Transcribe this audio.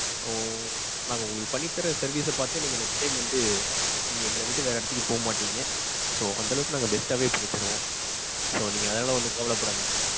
ஓ. நாங்க உங்களுக்கு பண்ணி தர்ற service ச பாத்து நீங்க next time வந்து நீங்க எங்கள விட்டு வேற இடத்துக்கு போக மாட்டிங்க. so, அந்த அளவுக்கு நாங்க best டாவே பண்ணி தருவோம். so, நீங்க அதெல்லாம் வந்து கவல பட வேண்டாம்.